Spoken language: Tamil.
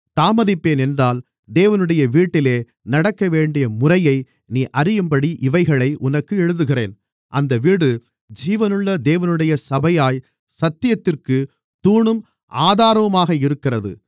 தாமதிப்பேன் என்றால் தேவனுடைய வீட்டிலே நடக்கவேண்டிய முறையை நீ அறியும்படி இவைகளை உனக்கு எழுதுகிறேன் அந்த வீடு ஜீவனுள்ள தேவனுடைய சபையாய்ச் சத்தியத்திற்குத் தூணும் ஆதாரமுமாக இருக்கிறது